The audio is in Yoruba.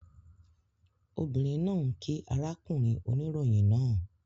Obìnrin náà kíí arákùnrin oníròyìn náà